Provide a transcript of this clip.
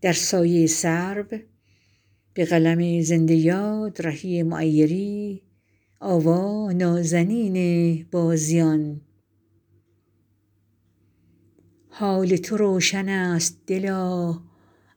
حال تو روشن است دلا